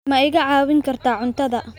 Ma iga caawin kartaa cuntada?